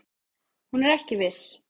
Hún er ekki viss.